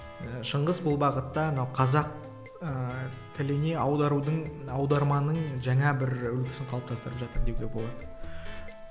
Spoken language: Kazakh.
ы шыңғыс бұл бағытта мынау қазақ ыыы тіліне аударудың аударманың жаңа бір үлгісін қалыптастырып жатыр деуге болады